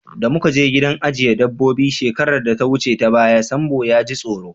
Da muka je gidan ajiye dabobbi shekarar da ta wuce ta baya, Sambo ya ji tsoro.